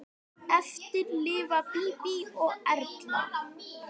Eftir lifa Bíbí og Erla.